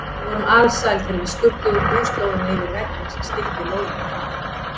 Við vorum alsæl þegar við skutluðum búslóðinni yfir vegginn sem skildi lóðirnar að.